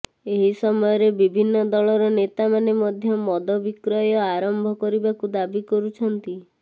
ଏହି ସମୟରେ ବିଭିନ୍ନ ଦଳର ନେତାମାନେ ମଧ୍ୟ ମଦ ବିକ୍ରୟ ଆରମ୍ଭ କରିବାକୁ ଦାବି କରୁଛନ୍ତି